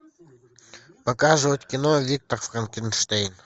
показывать кино виктор франкенштейн